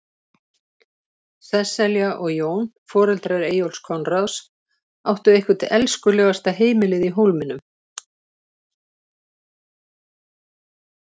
Sesselja og Jón, foreldrar Eyjólfs Konráðs, áttu eitthvert elskulegasta heimilið í Hólminum.